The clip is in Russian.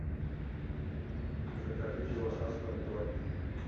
закажи килограмм помидор